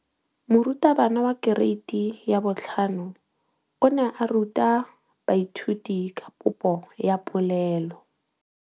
Moratabana wa kereiti ya 5 o ne a ruta baithuti ka popô ya polelô.